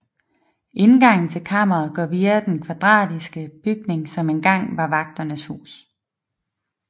Indgangen til kammeret går via den kvadratiske bygning som engang var vagternes hus